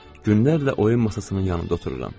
Günlərlə oyun masasının yanında otururam.